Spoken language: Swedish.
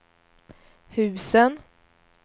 husen